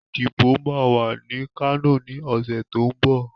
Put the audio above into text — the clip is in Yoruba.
Ìdìbò ma wà ní Kano ní ọ̀sẹ̀ tó ń bọ̀.